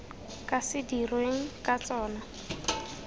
ka se dirweng ka tsona